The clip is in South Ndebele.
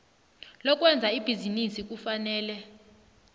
lokwenza ibhizinisi kufanele